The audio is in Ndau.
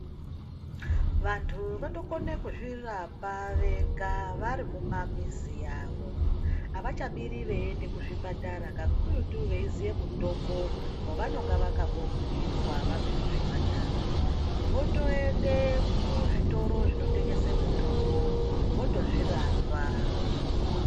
Vantu votokone kuzvirapa vega vari mumamizi avo, avachabiri veiende kuzvipatara kakuyutu veiziye mutombo wavanenge vakambobhuirwa vabve kuzvipatara votoende kuzvitoro zvinotengese mutombo votozvirapa.